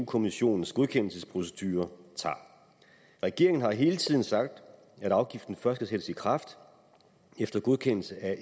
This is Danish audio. kommissionens godkendelsesprocedure tager regeringen har hele tiden sagt at afgiften først skal sættes i kraft efter godkendelse af